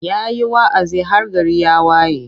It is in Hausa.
Ya yi wa'azi har gari ya waye.